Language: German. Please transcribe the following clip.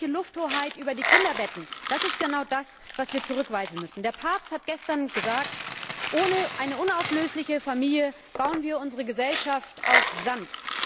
Die staatliche Lufthoheit über die Kinderbetten, das ist genau das, was wir zurückweisen müssen. Der Papst hat gestern gesagt Ohne eine unauflösliche Familie bauen wir unsere Gesellschaft auf Sand.